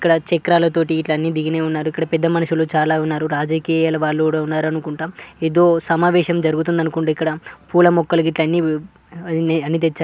ఇక్కడ చక్రాలతోటి అన్నీ దిగినిఉన్నారు. ఇక్కడ పెద్ద మనుషులు చాలా వున్నారు. రాజకీయాల వాళ్ళు కూడా ఉన్నారు. అనుకుంటా ఏదో సమావేశం జరుగుతుంది .అనుకుంటా ఇక్కడ పూల మొక్కలు అన్నీఅన్నీ తెచ్చారు .